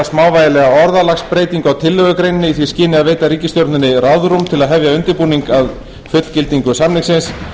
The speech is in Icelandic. smávægilega orðalagsbreytingu á tillögugreininni í því skyni að veita ríkisstjórninni ráðrúm til að hefja undirbúning að fullgildingu samningsins